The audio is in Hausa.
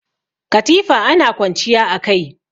Katifa ana kwanciya a kai.